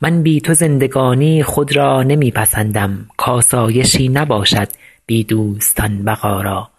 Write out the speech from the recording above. من بی تو زندگانی خود را نمی پسندم کآسایشی نباشد بی دوستان بقا را